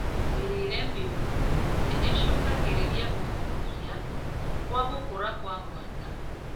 Mĩrĩre mĩũru nĩicũngagĩriria gwĩkururia kwa gũkũra kwa mwana